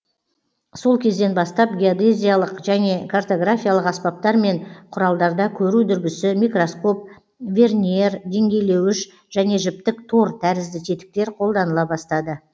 сол кезден бастап геодезиялық және картографиялық аспаптар мен құралдарда көру дүрбісі микроскоп верньер деңгейлеуіш және жіптік тор тәрізді тетіктер қолданыла бастады